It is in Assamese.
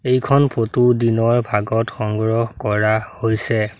এইখন ফটো দিনৰ ভাগত সংগ্ৰহ কৰা হৈছে।